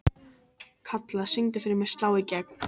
Kalla, syngdu fyrir mig „Slá í gegn“.